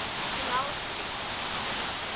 connell street